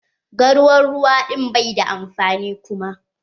Garwar ruwa ɗin bai da amfani kuma.